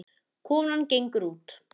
Konan gengur út.